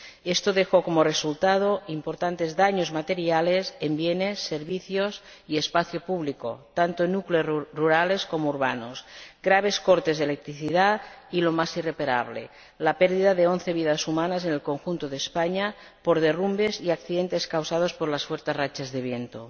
Esto dejó como resultado importantes daños materiales en bienes, servicios y espacio público, tanto en núcleos rurales como urbanos, graves cortes de electricidad y lo más irreparable la pérdida de once vidas humanas en el conjunto de España por derrumbes y accidentes causados por las fuertes rachas de viento.